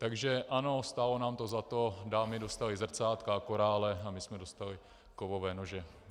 Takže ano, stálo nám to za to, dámy dostaly zrcátka a korále a my jsme dostali kovové nože.